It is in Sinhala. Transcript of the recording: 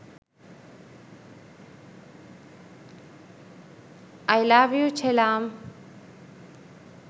i love you chellam